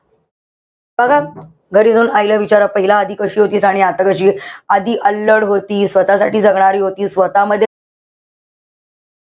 बघा, घरी जाऊन आईला विचार पहिला आधी कशी होती आणि आता कशीये. आधी अल्लड होती, स्वतःसाठी जगणारी होती. स्वतःमध्ये,